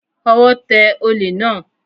Ọwọ́ tẹ olè náà